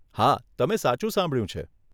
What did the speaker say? હા, તમે સાચું સાંભળ્યું છે.